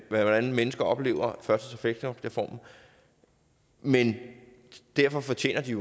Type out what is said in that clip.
hvordan mennesker oplever førtids og fleksjobreformen men derfor fortjener de